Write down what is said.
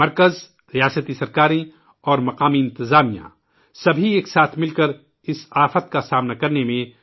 مرکز ، ریاستی حکومتوں اور مقامی انتظامیہ کو ، اِس قدرتی آفات کا مل کر سامنا کرنا ہے